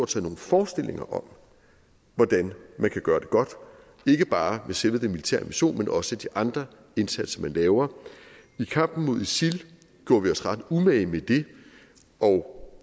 sig nogle forestillinger om hvordan man kan gøre det godt ikke bare med selve den militære invasion men også de andre indsatser man laver i kampen mod isil gjorde vi os ret umage med det og